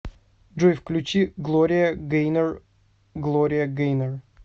джой включи глория гэйнор глория гэйнор